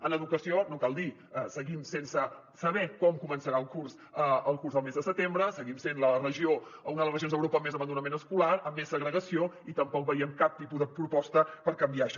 en educació no cal dir ho seguim sense saber com començarà el curs el mes de setembre seguim sent la regió o una de les regions d’europa amb més abandonament escolar amb més segregació i tampoc veiem cap tipus de proposta per canviar això